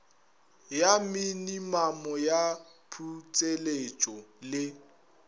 ya minimamo ya putseletšo le